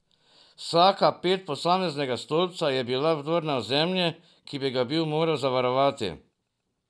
Vsaka ped posameznega stolpca je bila vdor na ozemlje, ki bi ga bil moral zavarovati.